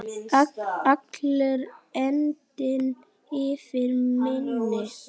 Allur andinn yfir manni.